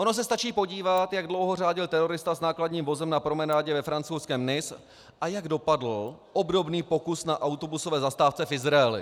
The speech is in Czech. Ono se stačí podívat, jak dlouho řádil terorista s nákladním vozem na promenádě ve francouzském Nice a jak dopadl obdobný pokus na autobusové zastávce v Izraeli.